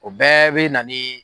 O bɛɛ bɛ nani.